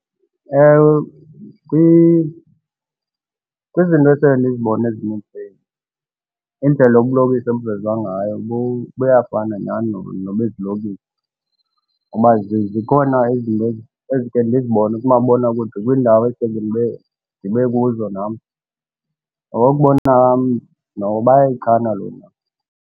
Ewe, kwizinto ekhe ndizibone indlela ubulokishi obuvezwa ngayo buyafana nyhani nobezilokishini ngoba zikhona izinto endike ndizibone kumabonakude kwiindawo eseke ndibe kuzo nam. Ngokokubona kwam noko bayayichana lo ndawo.